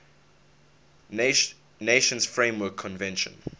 nations framework convention